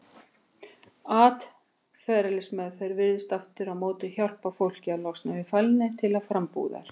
Atferlismeðferð virðist aftur á móti hjálpa fólki að losna við fælni til frambúðar.